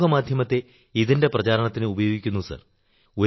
സമൂഹമാധ്യമത്തെ ഇതിന്റെ പ്രചാരണത്തിന് ഉപയോഗിക്കുന്ന സർ